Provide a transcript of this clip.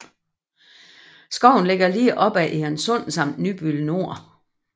Skoven ligger lige op ad Egernsund samt Nybøl Nor